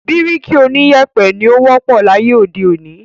Bíríkì oníyèpè ni ó wọ́pọ̀ láyé òde òní.